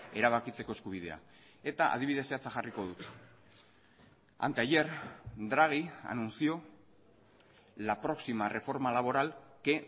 erabakitzeko eskubidea eta adibidez zehatza jarriko dut anteayer draghi anunció la próxima reforma laboral que